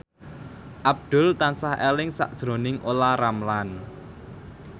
Abdul tansah eling sakjroning Olla Ramlan